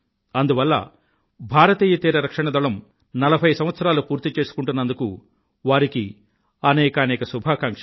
అందువల్ల భారతీయ తీరరక్షణ దళం 40 సంవత్సరాలు పూర్తి చేసుకుంటున్నందుకు వారికి అనేకానేక శుభాకాంక్షలు